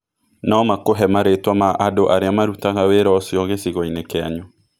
No makũhe marĩĩtwa ma andũ arĩa marutaga wĩra ũcio gĩcigo-inĩ kĩanyu.